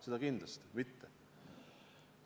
Seda kindlasti mitte.